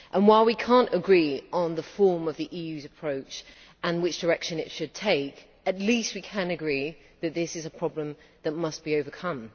While we cannot agree on the form of the EU's approach and which direction it should take, at least we can agree that this is a problem that must be overcome.